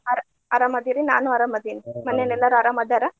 ಅರ್~ ಅರಾಮ್ ಅದೇರಿ ನಾನು ಅರಾಮ್ ಅದೀನ್ ಮನೆಯಲ್ಲಿ ಎಲ್ಲಾರು ಅರಾಮ್ ಅದಾರ?